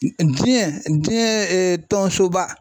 Diɲɛ diɲɛ tɔnsoba